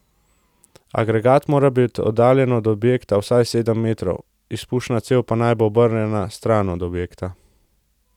Agregat mora biti oddaljen od objekta vsaj sedem metrov, izpušna cev pa naj bo obrnjena stran od objekta.